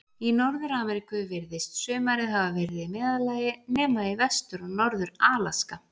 Í Norður-Ameríku virðist sumarið hafa verið í meðallagi, nema í Vestur- og Norður-Alaska.